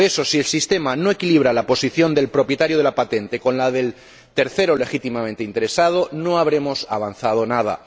Por eso, si el sistema no equilibra la posición del propietario de la patente con la del tercero legítimamente interesado, no habremos avanzado nada.